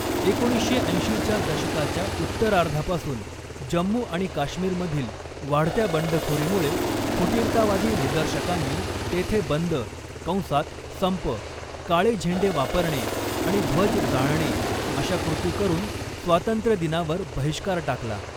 एकोणीसशे ऐंशीच्या दशकाच्या उत्तरार्धापासून जम्मू आणि काश्मीरमधील वाढत्या बंडखोरीमुळे, फुटीरतावादी निदर्शकांनी तेथे बंद कंसात संप, काळे झेंडे वापरणे आणि ध्वज जाळणे अशा कृती करून स्वातंत्र्यदिनावर बहिष्कार टाकला.